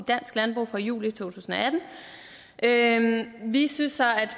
dansk landbrug fra juli to tusind og atten vi synes så